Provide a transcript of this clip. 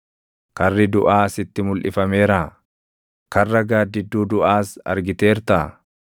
Karri duʼaa sitti mulʼifameeraa? Karra gaaddidduu duʼaas argiteertaa?